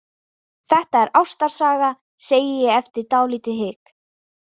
Þetta er ástarsaga, segi ég eftir dálítið hik.